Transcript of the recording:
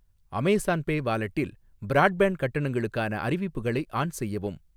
Amazon pay வாலெட்டில், broadband கட்டணங்களுக்கான அறிவிப்புகளை ஆன் செய்யவும்.